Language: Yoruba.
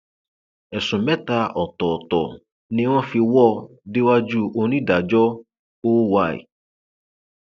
ẹsùn mẹta ọtọọtọ ni wọn fi wò ó déwájú onídàájọ oy